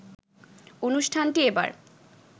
অনুষ্ঠানটি এবার